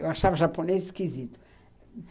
Eu achava japonês esquisito.